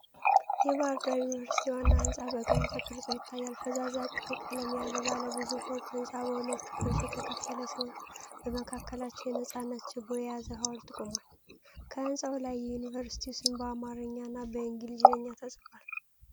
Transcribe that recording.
የባሕር ዳር ዩኒቨርሲቲ ዋና ሕንጻ በቅርብ ተቀርጾ ይታያል። ፈዛዛ ቀይ ቀለም ያለው ባለ ብዙ ፎቅ ሕንጻ በሁለት ክፍሎች የተከፈለ ሲሆን፣ በመካከላቸው የነጻነት ችቦ የያዘ ሐውልት ቆሟል። ከሕንፃው ላይ የዩኒቨርሲቲው ስም በአማርኛና በእንግሊዝኛ ተጽፏል።